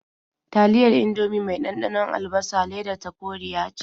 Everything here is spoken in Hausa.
Taliyar Indomie mai ɗanɗanon albasa ledar ta koriya ce.